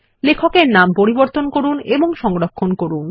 লেখক এর নাম পরিবর্তন করুন এবং সংরক্ষণ করুন